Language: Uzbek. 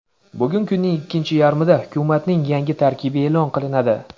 Bugun kunning ikkinchi yarmida hukumatning yangi tarkibi e’lon qilinadi.